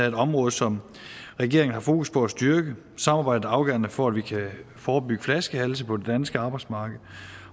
et område som regeringen har fokus på at styrke samarbejdet er afgørende for at vi kan forebygge flaskehalse på det danske arbejdsmarked